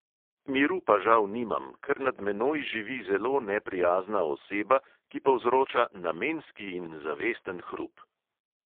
Miru pa žal nimam, ker nad menoj živi zelo neprijazna oseba, ki povzroča namenski in zavesten hrup.